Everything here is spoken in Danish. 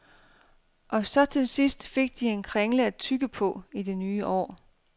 Og så til sidst fik de en kringle at tygge på i det nye år.